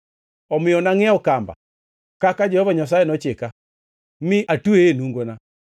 Omiyo nangʼiewo kamba, kaka Jehova Nyasaye nochika, mi atweye e nungona.